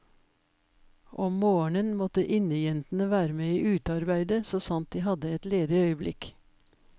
Om morgenen måtte innejentene være med i utearbeidet så sant de hadde et ledig øyeblikk.